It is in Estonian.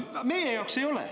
Meie jaoks ei ole.